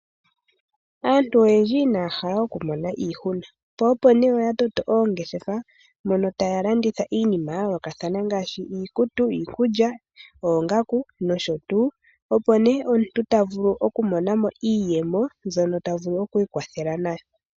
Aantu oyendji inaya hala okumona iihuna po opo nee oya toto oongeshefa dhoka mono taya landitha iinima ya yoolokathana ngaashi, iikutu, iikulya, oongaku nosho tu. Opo nee omuntu tavulu okumona mo iiyemo mbyono tavulu okwiikwathela nayo.